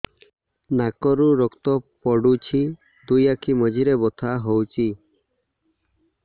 ନାକରୁ ରକ୍ତ ପଡୁଛି ଦୁଇ ଆଖି ମଝିରେ ବଥା ହଉଚି